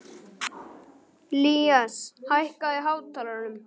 Ilías, hækkaðu í hátalaranum.